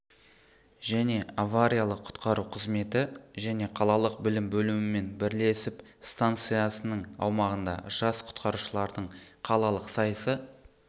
және авариялық құтқару қызметі және қалалық білім бөлімімен бірлесіп станциясының аумағында жас құтқарушылардың қалалық сайысы